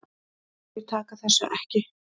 Þeir taka þessu ekki.